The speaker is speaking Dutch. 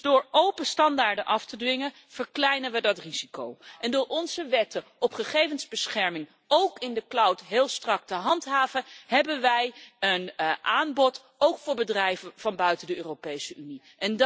Door open standaarden af te dwingen verkleinen we dat risico. Door onze wetten op gegevensbescherming, ook in de cloud, heel strak te handhaven, hebben wij een aanbod ook voor bedrijven van buiten de Europese Unie.